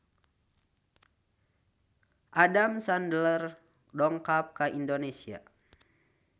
Adam Sandler dongkap ka Indonesia